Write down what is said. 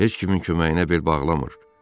Heç kimin köməyinə bel bağlamır.